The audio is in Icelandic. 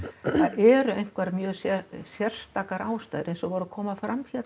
eru einhverjar mjög sérstakar ástæður eins og voru að koma fram